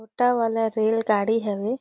छोटा वाला रेल गाड़ी हवे।